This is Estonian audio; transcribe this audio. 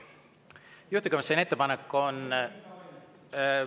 Juhtivkomisjoni ettepanek on …